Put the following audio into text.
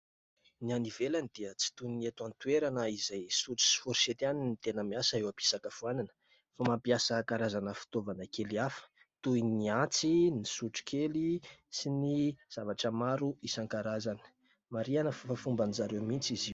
Ny any ivelany dia tsy toy ny eto an-toerana izay sotro sy "fourchette" ihany no tena miasa eo ampisakafoanana fa mampiasa karazana fitaovana kely hafa toy ny antsy, ny sotrokely sy ny zavatra maro isan-karazany. Marihina fa efa fomban-dry zareo mihitsy izy io.